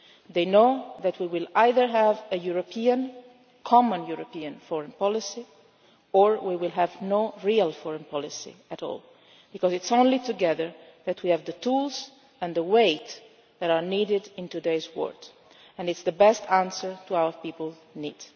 citizens already do. They know that we will either have a common European foreign policy or no real foreign policy at all, because it is only together that we have the tools and the weight that are needed in today's world, and this is the best answer to